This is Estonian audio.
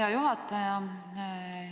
Hea juhataja!